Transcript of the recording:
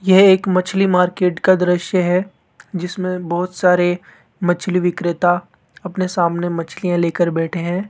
यह एक मछली मार्केट का दृश्य है जिसमें बहुत सारे मछली विक्रेता अपने सामने मछलियां लेकर बैठे है।